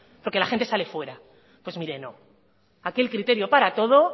porque la gente sale fuera pues mire no aquí el criterio para todo